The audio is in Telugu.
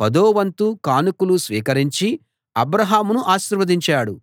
పదోవంతు కానుకలు స్వీకరించి అబ్రాహామును ఆశీర్వదించాడు